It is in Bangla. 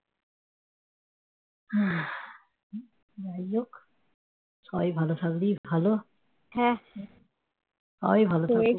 যাইহোক সবাই ভালো থাকবি ভালো সবাই ভাল থাকবি